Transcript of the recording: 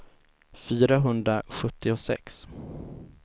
fyrahundrasjuttiosex